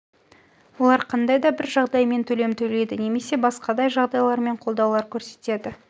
олар қандай да бір жағдаймен төлем төлейді немесе басқадай жағдайлармен қолдаулар көрсетеді